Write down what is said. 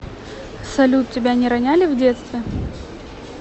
салют тебя не роняли в детстве